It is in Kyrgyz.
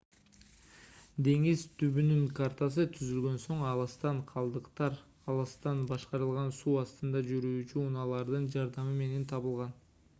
деңиз түбүнүн картасы түзүлгөн соң алыстан калдыктар алыстан башкарылган суу астында жүрүүчу унаалардын жардамы менен табылган